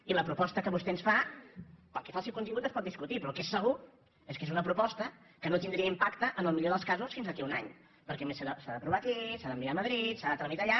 i la proposta que vostè ens fa pel que fa al seu contingut es pot discutir però el que és segur és que és una proposta que no tindria impacte en el millor dels casos fins d’aquí a un any perquè a més s’ha aprovat aquí s’ha d’enviar a madrid s’ha de tramitar allà